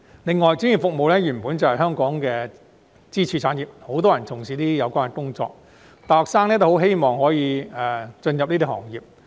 另外，專業服務原本就是香港的支柱產業，很多人從事有關工作，大學生均希望可投身這些行業。